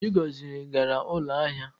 Chigozie gara ụlọ ahịa.